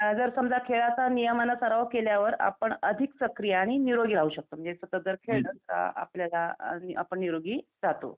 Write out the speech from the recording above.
अ जर समजा खेळाचा नियमांना सराव केल्यावर आपण अधिक सक्रिय आणि निरोगी राहू शकतो. आपल्याला आपण निरोगी राहतो